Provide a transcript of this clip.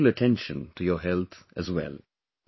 Pay special attention to your health as well